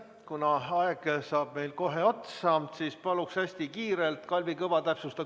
Kuna aeg saab kohe otsa, siis palun Kalvi Kõval esitada hästi kiiresti täpsustav küsimus.